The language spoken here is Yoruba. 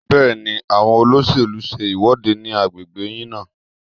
Bẹ́ẹ̀ni, àwọn olóṣèlú ń ṣe ìwọ́de ní agbègbè yín náà